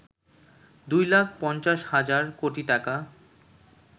২ লাখ ৫০ হাজার কোটি টাকা